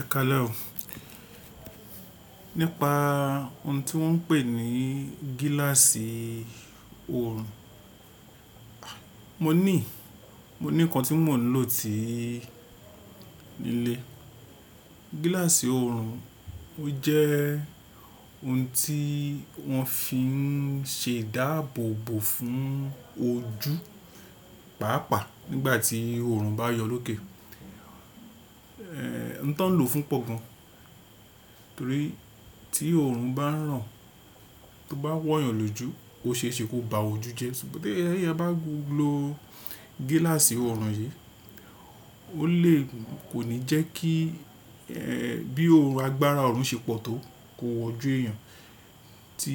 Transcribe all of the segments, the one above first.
Ẹ̀kalẹ́ẹ̀o nípa ohun tí wọ́n ń pè ní gíláàsì oòrùn, mo nii. Mo ní ìkan tí mò ń lò ti, nílé. Gíláàsì oòrùn jẹ́ ohun tí wọ́n fi ń ṣe ìdáàbòbò fún ojú pàápàá nígbà tí oòrùn bá yọ lóke. Ohun tí wọ́n ń lò fún pọ̀ gan, torí tí oòrùn bá ràn tó bá wọ̀yàn lójú, ó ṣe é ṣe kó ba ojú jẹ ṣùgbọ́n tí ẹ bá lo gíláàsì oòrùn yìí, ó lè, kò ní jẹ́ kí bí oòrùn agbára oòrùn ṣe pọ̀ tó kó wọ ojú èèyàn tí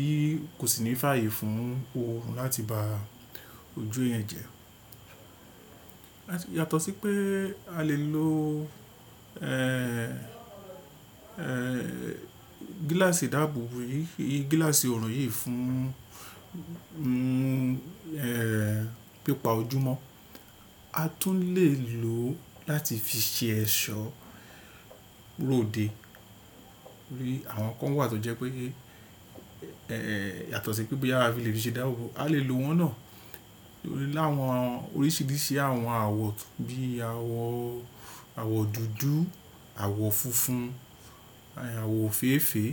kò sì ní fàyè fún oòrùn láti bá ojú èèyàn jẹ. Yàtọ̀ sí pé a lè lo gíláàsì ìdáàbòbò yìí, gíláàsì oòrùn yìí fún pípa ojú mọ́, a tún lè lò ó láti fi ṣe ẹ̀ṣọ́ róde. Torí àwọn kan wà tó jẹ́ pé yàtọ̀ sí pé bí a bá fi lè fi ṣe ìdáàbòbò, a lè lo wọn náà nítorí láwọn oríṣiríṣi àwọn àwọ̀ bíi àwọ̀ dúdú, àwọ̀ funfun, àwọ̀ ofèèfèé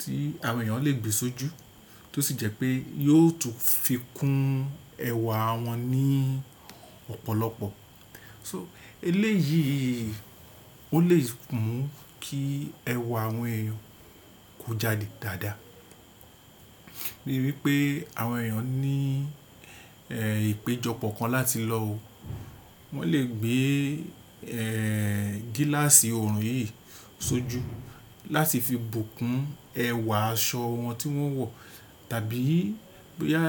tí àwọn èèyàn lè gbe sójú tó sì jẹ́ pé yóò tún fi kún ẹwà wọn ní ọ̀pọ̀lọpọ̀. So, eléyìí ó lè mú kí ẹwà àwọn èèyàn kó jáde dáadáa. Bíi wípé àwọn èèyàn ní ìpéjọpọ̀ kan láti lọ, wọ́n lè gbé gíláàsì oòrùn yìí sójú láti fi bùkún ẹwà aṣọ wọn tí wọ́n wọ̀. Tàbí bóyá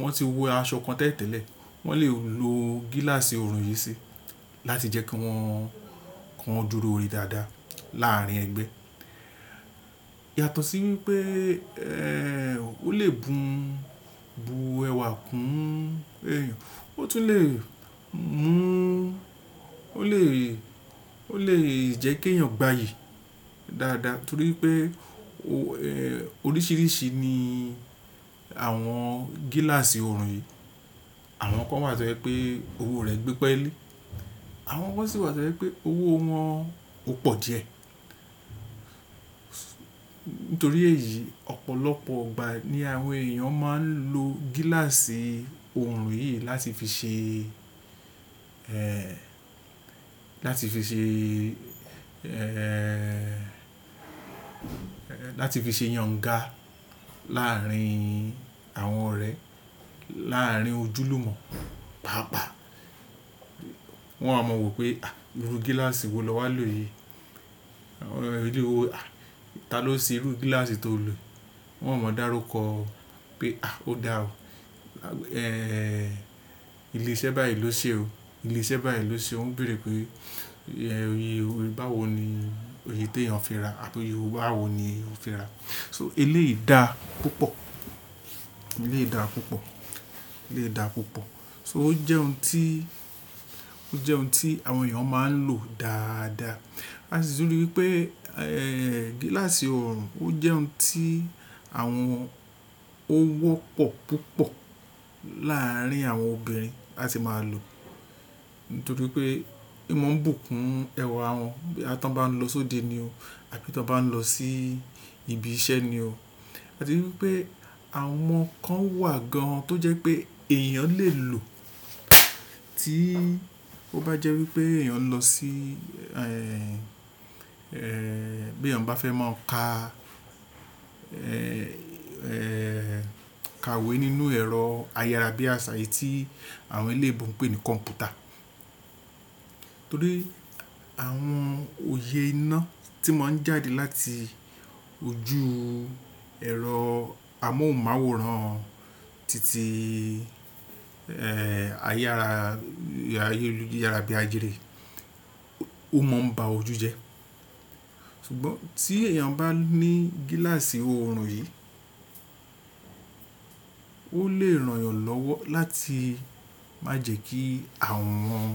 wọ́n ti wọ aṣọ kan tẹ́lẹ̀tẹ́lẹ̀, wọ́n lè lo gíláàsì oòrùn yìí síi láti jẹ́ kí wọ́n dùrò re dáadáa láàárín ẹgbẹ́. Yàtọ̀ sí wípé ó lè bù ẹwà kún èèyàn, ó tún lè mú ó lè jẹ́ kí ẹ̀yàn gbayì dáadáa torí pé oríṣiríṣi ni àwọn gíláàsì oòrùn yìí. Àwọn kan wà tó jẹ́ pé owó rẹ̀ gbẹ́ peli, àwọn kan sì wà tó jẹ́ pé owó wọn ò pọ̀ díẹ̀. Nítorí èyí, ọ̀pọ̀lọpọ̀ ìgbà ní àwọn èèyàn máa ń lo gíláàsì oòrùn yìí láti fi ṣe láti fi ṣe yànnga láàárín àwọn ọ̀rẹ́, láàárín ojúlùmọ̀ pàápàá. Wọn o wa mọ wípé irú gíláàsì wo lo wa lo yi. Ta ló ṣe irú gíláàsì tó lò. Wọn a mọ dáruko pé ó da ọ́. Ilé iṣẹ́ báyìí ló ṣe o. Ilé iṣẹ́ báyìí ló ṣe o. Ó ń béèrè pé oyè báwo ni oyè tí ẹ̀yàn fi rà àti oyè báwo ni ó fi rà. So, eléyìí dà púpọ̀. Eléyìí dà púpọ̀. Eléyìí dà púpọ̀. So ó jẹ́ ohun tí àwọn èèyàn máa ń lò dáadáa. A sì tún rí wípé gíláàsì oòrùn jẹ́ ohun tí àwọn ó wọ́pọ̀ púpọ̀ láàárín àwọn obìnrin láti máa lò. Nítorí pé ó máa ń bùkún ẹwà wọn bí a bá ń lọ sóde ni o àbí tí wọ́n bá ń lọ sí ibi iṣẹ́ ni o. A ti rí wípé àwọn kan wà gan tó jẹ́ pé èèyàn lè lò tí ó bá jẹ́ wípé èèyàn ń lọ sí bí ẹ̀yàn bá fẹ́ máa ka àwẹ̀ nínú ẹ̀rọ ayárabíàsà e ti àwọn e'léèbo ń pè ní kọ̀m̀pútà. Nítorí àwọn òye iná tí máa ń jáde láti ojú ẹ̀rọ amóhùnmáwòrán títí ayára bí àjírì ó máa ń ba ojú jẹ́. Ṣùgbọ́n tí èèyàn bá ní gíláàsì oòrùn yìí, ó lè ràn ọ́ lọ́wọ́ láti má jẹ́ kí àwọ̀ wọn.